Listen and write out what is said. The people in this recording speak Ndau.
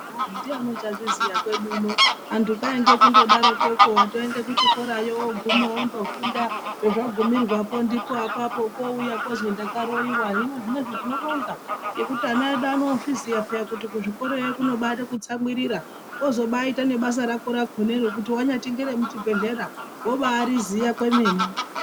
Ndiyani uchazviziya kwedu uno antu kwainge kumgodakoko watoende kuchikorayo wafunda pezvagumira po ndipaapapo kwouya kozi ndakaroyiwa hino zvinezvi tinobonga mgekuti ana edu anozviziva paini kuti kuzvikorayo kuno baide kutsamwirira wozobaite nebasa rako rakonaro rakonero kuti wanyati ngere muchibhehlera wobairiziya kwemene